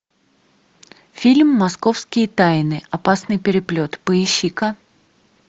фильм московские тайны опасный переплет поищи ка